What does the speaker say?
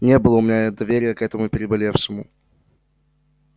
не было у меня доверия к этому переболевшему